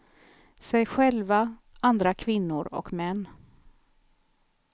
Sig själva, andra kvinnor och män.